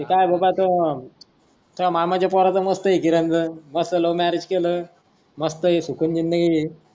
ते काय आहे बाबा तो तुझ्या मामा चा पोराच मस्त आहे किरण चा मस्त लव्ह मॅरेज केल मस्त आहे सुकून जिंदगी.